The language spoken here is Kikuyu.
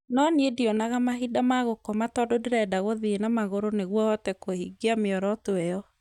no niĩ ndionaga mahinda ma gũkoma tondũ ndĩrenda gũthiĩ na magũrũ nĩguo hote kũhingia mĩoroto ĩyo